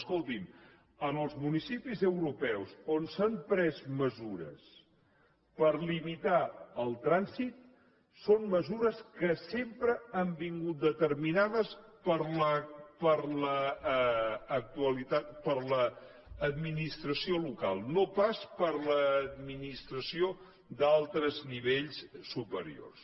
escolti’m en els municipis europeus on s’han pres mesures per limitar el trànsit són mesures que sempre han vingut determinades per l’administració local no pas per l’administració d’altres nivells superiors